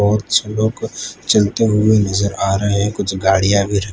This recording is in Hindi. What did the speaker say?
बहोत सारे लोग चलते हुए नज़र आ रहे है कुछ गाड़ियां भी रखी--